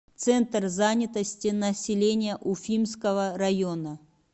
центр занятости населения уфимского района